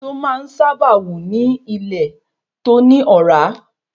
Èso máa n sáábà wù ni ile to ni ọ̀rá